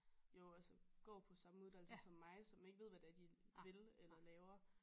Jo altså går på samme uddannelse som mig som ikke ved hvad det er de vil eller laver